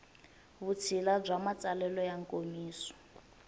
vutshila bya matsalelo ya nkomiso